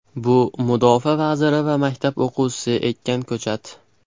Bu Mudofaa vaziri va maktab o‘quvchisi ekkan ko‘chat!